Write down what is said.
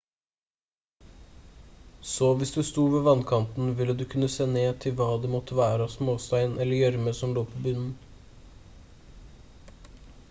så hvis du sto ved vannkanten ville du kunne se ned til hva det måttevære av småstein eller gjørme som lå på bunnen